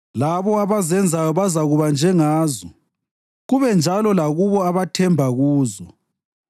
Labo abazenzayo bazakuba njengazo, kube njalo lakulabo abathemba kuzo.